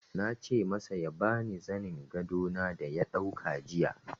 Na ce masa ya ba ni zanin gado na da ya dauka jiya.